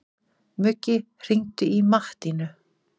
Muggi, hringdu í Mattínu.